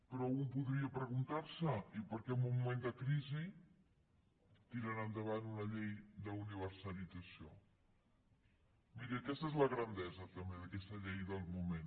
però un podria preguntar se i per què en un moment de crisi tiren endavant una llei d’universalització miri aquesta és la grandesa també d’aquesta llei del moment